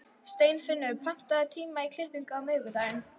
Steinfinnur, pantaðu tíma í klippingu á miðvikudaginn.